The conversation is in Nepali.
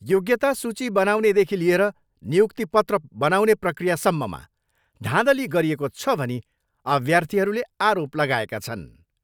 योग्यता सूची बनाउनेदेखि लिएर नियुक्ति पत्र बनाउने प्रक्रियासम्ममा धाँधली गरिएको छ भनी अभ्यार्थीहरूले आरोप लगाएका छन्।